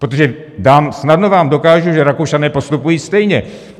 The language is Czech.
Protože snadno vám dokážu, že Rakušané postupují stejně.